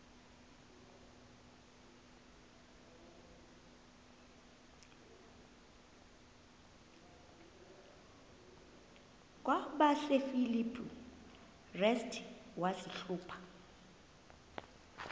kwabasefilipi restu wazihluba